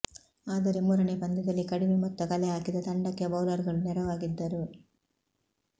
ಆದರೆ ಮೂರನೇ ಪಂದ್ಯದಲ್ಲಿ ಕಡಿಮೆ ಮೊತ್ತ ಕಲೆ ಹಾಕಿದ ತಂಡಕ್ಕೆ ಬೌಲರ್ಗಳು ನೆರವಾಗಿದ್ದರು